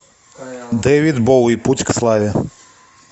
дэвид боуи путь к славе